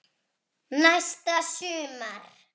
Næsta sumar?